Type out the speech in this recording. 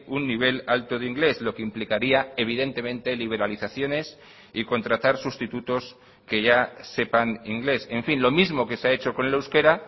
un nivel alto de inglés lo que implicaría evidentemente liberalizaciones y contratar sustitutos que ya sepan inglés en fin lo mismo que se ha hecho con el euskera